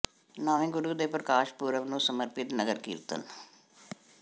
ਨੌਵੇਂ ਗੁਰੂ ਦੇ ਪ੍ਰਕਾਸ਼ ਪੁਰਬ ਨੂੰ ਸਮਰਪਿਤ ਨਗਰ ਕੀਰਤਨ